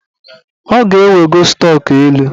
Ọ ga-ewego stọk elu